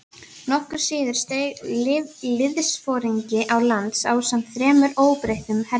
Nokkru síðar steig liðsforingi á land ásamt þremur óbreyttum hermönnum.